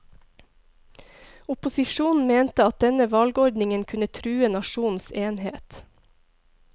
Opposisjonen mente at denne valgordningen kunne true nasjonens enhet.